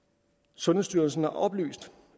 sundhedsstyrelsen har oplyst